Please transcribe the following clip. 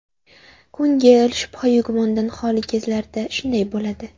Ko‘ngil shubha-yu gumondan xoli kezlarda shunday bo‘ladi.